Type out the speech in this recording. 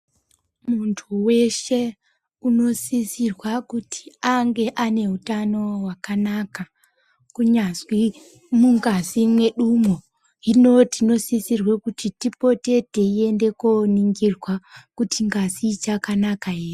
Muntu weshe unosisirwa kuti ange ane hutano hwakanaka kunyazwi mungazi mwedumwo hino tinosisirwe kuti tipote teiende koningirwa kuti ngazi ichakanaka ere.